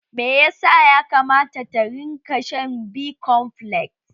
Meyasa ya kamata ta rinka shan B-komfles?